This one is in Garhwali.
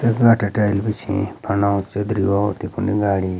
टाइल बिछीं फंडाक च तफुन गाडी।